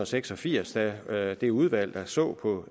seks og firs da da det udvalg der så på